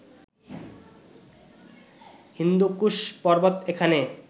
হিন্দুকুশ পর্বত এখানে